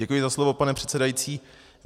Děkuji za slovo, pane předsedající.